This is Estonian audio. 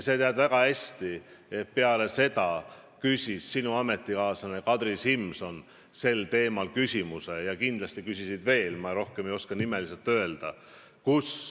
Sa tead väga hästi, et peale seda küsis sinu ametikaaslane Kadri Simson sel teemal küsimuse ja kindlasti küsisid teisedki – ma rohkem ei oska nimeliselt öelda.